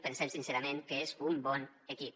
pensem sincerament que és un bon equip